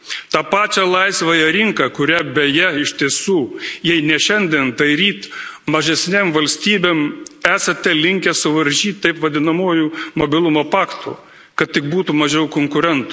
Tą pačią laisvąją rinką, kurią, beje, iš tiesų, jei ne šiandien, tai ryt mažesnėms valstybėms esate linkęs suvaržyti taip vadinamuoju Mobilumo paktu, kad tik būtų mažiau konkurentų.